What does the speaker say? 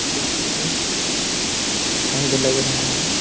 ये ऑफिस है शायद लग रहा है।